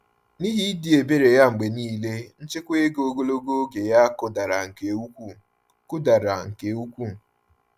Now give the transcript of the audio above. N’ihi ịdị ebere ya mgbe niile, nchekwa ego ogologo oge ya kụdara nke ukwuu. kụdara nke ukwuu.